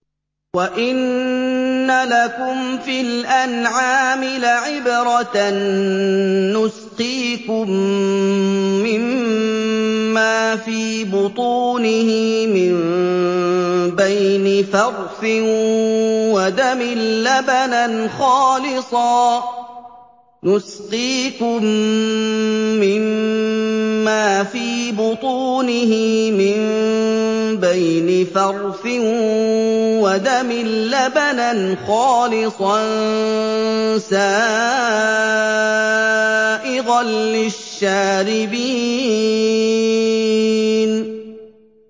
وَإِنَّ لَكُمْ فِي الْأَنْعَامِ لَعِبْرَةً ۖ نُّسْقِيكُم مِّمَّا فِي بُطُونِهِ مِن بَيْنِ فَرْثٍ وَدَمٍ لَّبَنًا خَالِصًا سَائِغًا لِّلشَّارِبِينَ